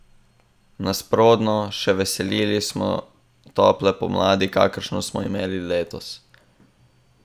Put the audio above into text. Nasprotno, še veseli smo tople pomladi, kakršno smo imeli letos.